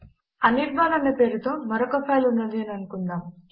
అనిర్బాన్ అనే పేరుతో మరొక ఫైల్ ఉన్నది అని అనుకుందాము